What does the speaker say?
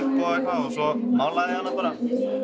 og svo málaði ég hana bara